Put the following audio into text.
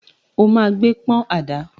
Ó ma gbẹ́ pọ́n àdá!